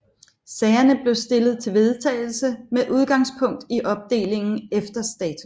Sagerne blev stillet til vedtagelse med udgangspunkt i opdelingen efter status